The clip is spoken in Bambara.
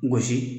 Gosi